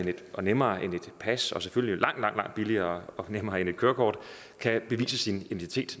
og nemmere end et pas og selvfølgelig langt langt billigere og nemmere end et kørekort kan bevise sin identitet